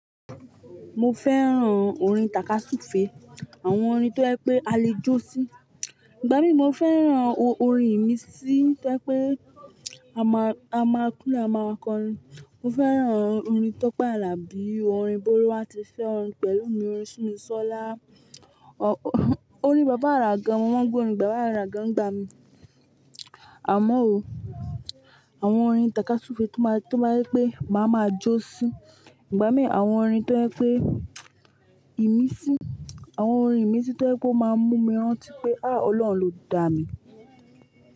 Mo fẹ́ràn orin tàka súfe, àwọn orin tó jẹ pé a lè jó sí. Ìgbà mí mo fẹ́ràn orin ìmi sí tó jẹ pé a máa, a máa kúnlẹ̀, a máa kọrin. Mo fẹ́ràn orin Tọ́pẹ́ Àlàbí, orin Bólúwátifẹ́, orin pẹ̀lúmi, orin Simisọla, orin Baba Àrà gan, mo màa ń gbọ orin Baba Àrà gan, ń gba mi. Àmọ́ ooo, àwọn orin tàka súfe tó máa, tó máa jẹ pé máa máa jó sí. Ìgbà mí àwọn orin tó jẹ pé ìmí sí, àwọn orin ìmí sí tó jẹ pé ó máa mú mi rántí pé, ah! Ọlọ́run ló dà mí.